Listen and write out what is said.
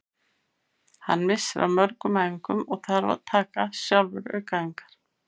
Hann missir af mörgum æfingum og þarf að taka sjálfur aukaæfingar.